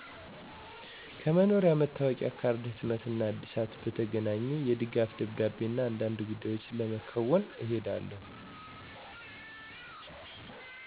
ከመኖሪያ መታወቂያ ካርድ ህትመት እና እድሳት በተገናኘ፣ የድጋፍ ደብዳቤ እና አንዳንድ ጉዳዮችን ለመከዎን እሄዳለሁ።